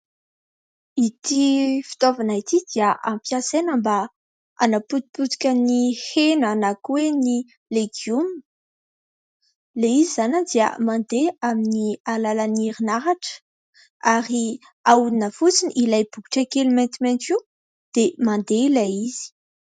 Ity fitaovana ity dia hampiasaina mba hanapotipotika ny hena na koa hoe ny legioma. Ilay izy izany dia mandeha amin'ny alalan'ny herinaratra ary ahodina fotsiny ilay bokotra kely maintimainty io dia mandeha ilay izy.